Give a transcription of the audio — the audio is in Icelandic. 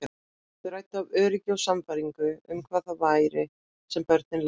Þau ræddu af öryggi og sannfæringu um hvað það væri sem börn lærðu þar.